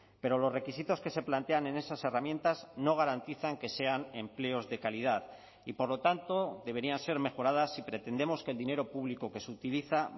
pero los requisitos que se plantean en esas herramientas no garantizan que sean empleos de calidad y por lo tanto deberían ser mejoradas si pretendemos que el dinero público que se utiliza